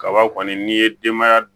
Kaba kɔni n'i ye denbaya